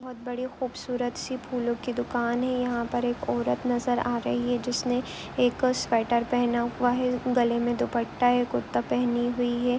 बहुत बड़ी खुबसूरत सी फूलो की दुकान है यहां पर एक औरत नजर आ रही है जिसने ने एक स्वेटर पहना हुआ है गले में दुप्पटा है कुर्ती पहनी हुई है।